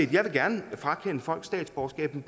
jeg vil gerne frakende folk statsborgerskabet